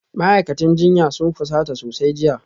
Ma'aikatan jinya sun fusata sosai jiya